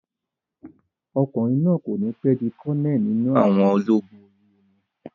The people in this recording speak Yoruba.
Ọkùnrin náà kò ní pẹ́ di kọ́nẹ̀lì nínú àwọn ológun orí omi